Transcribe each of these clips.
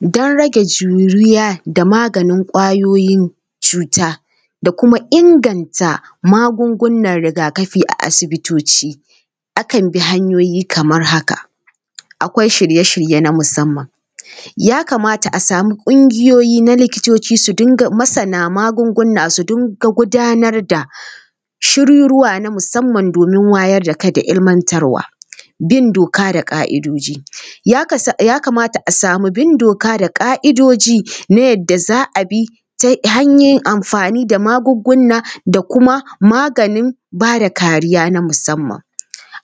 Don rage juyuwa da maganin ƙwayoyin cuta da kuma inganta magugunan riga-kafi a asibitoci, akan bi hanyoyi kamar haka: akwai shirye-shitye na musamman. Ya kamata a samu ƙungiyoyi na likitoci su dinga masana magunguna su dinga gudanar da shiriruwa na musamman domin wayar da kai da ilimantarwa. Bin doka da ƙa’idoji:- ya kamata a samu bin doka da ƙa’idoji na yadda za a bi ta yin amfani da magunguna da kuma maganin ba da kariya na musamman.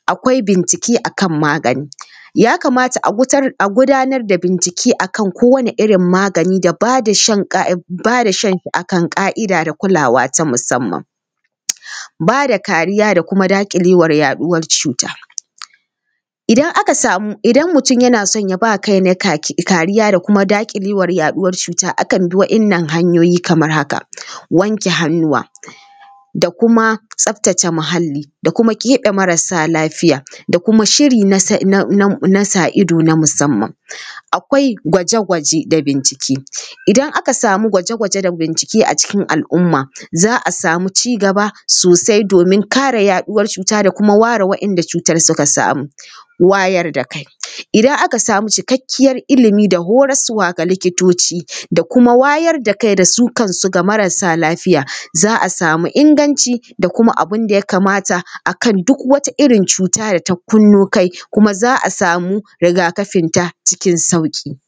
Akwai bincike a kan magani:- ya kamata a gudanar da bincike a kan kowane irin magani da ba da shan a kan ƙa’ida da kulawa ta musamman. Ba da kariya da kuma daƙilewar yaɗuwar cuta:- idan aka samu, idan mutum yana son ya ba kainai kariya da kuma daƙilewar yaɗuwar cuta, akan bi waɗannan hanyoyi kamar haka: wanke hannuwa da kuma tsaftace muhalli da kuma k eve marasa lafiya da kuma shiri na sa ido na musamman. Akwai gwaje-gwaje da bincike:- idan aka samu gwaje-gwaje da bincike a cikin al’umma, za a samu ci gaba sosai domin kare yaɗuwar cuta da kuma ware wanda cutar suka samu. Wayar da kai:- idan aka samu cikakkiyar ilimi da horaswa ga likitoci da kuma wayar da kai da su kansu ga marasa lafiya, za a samu inganci da kuma abin da ya kamata a kan duk wata irin cuta da ta kunno kai kuma za a samu riga-kafinta cikin sauƙi.